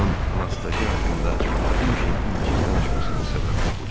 Onun Anastasiya haqqında həmişə incik danışmasının səbəbi də budur.